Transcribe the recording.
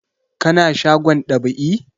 Ka na shagon dab'i?